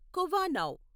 కువానావ్